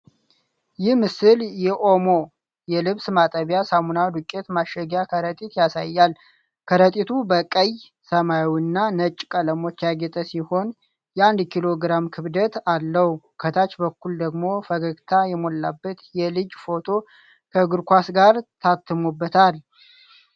ይህ ምስል የኦሞ (OMO) የልብስ ማጠቢያ ሳሙና ዱቄት ማሸጊያ ከረጢት ያሳያል። ከረጢቱ በቀይ፣ ሰማያዊ እና ነጭ ቀለሞች ያጌጠ ሲሆን፣ የአንድ ኪሎ ግራም ክብደት አለው። ከታች በኩል ደግሞ ፈገግታ የሞላበት የልጅ ፎቶ ከእግር ኳስ ጋር ታትሞበታል።